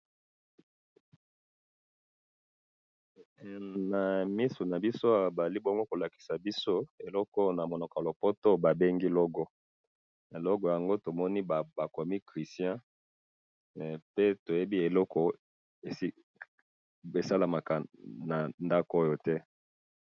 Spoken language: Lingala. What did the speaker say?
he nabmisu nabiso awa bazali kolakisa biso eloko oyo na munoko ya poto ba bengi logo logo yango bakomi christian pe toyebi eloko esalamaka na ndaku oyo te